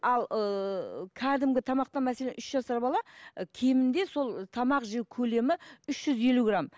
ал ыыы кәдімгі тамақта мәселен үш жасар бала ы кемінде сол тамақ жеу көлемі үш жүз елу грамм